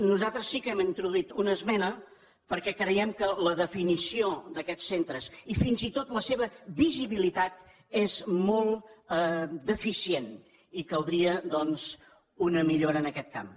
nosaltres sí que hem introduït una esmena perquè creiem que la definició d’aquests centres i fins i tot la seva visibilitat és molt deficient i caldria doncs una millora en aquest camp